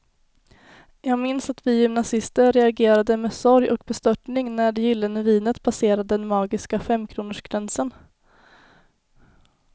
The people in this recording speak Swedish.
Jag minns att vi gymnasister reagerade med sorg och bestörtning när det gyllene vinet passerade den magiska femkronorsgränsen.